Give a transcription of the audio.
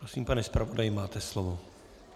Prosím, pane zpravodaji, máte slovo.